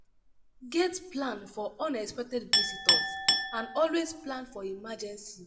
get plan for unexpected visitors and always plan for emergency